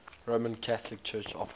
roman catholic church offices